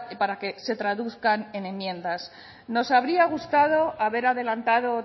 para que se traduzcan en enmiendas nos habría gustado haber adelantado